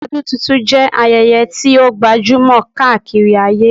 Ọdún tuntun jẹ́ ayẹyẹ tí ó gbajúmọ̀ káàkiri ayé